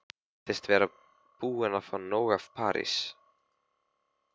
Hún virðist vera búin að fá nóg af París.